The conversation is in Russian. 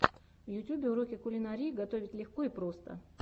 в ютюбе уроки кулинарии готовить легко и просто